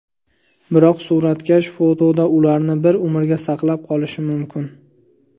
Biroq suratkash fotoda ularni bir umrga saqlab qolishi mumkin.